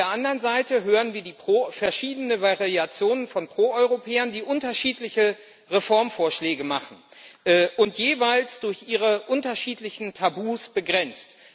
Auf der anderen Seite hören wir die verschiedenen Variationen von Pro Europäern, die unterschiedliche Reformvorschläge machen, jeweils durch ihre unterschiedlichen Tabus begrenzt.